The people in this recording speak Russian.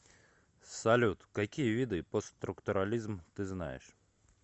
салют какие виды постструктурализм ты знаешь